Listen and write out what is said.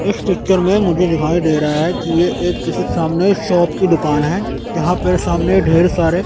इस चित्र में मुझे दिखाई दे रहा है कि ये एक किसी सामने शॉप की दुकान है जहां पर सामने ढेर सारे--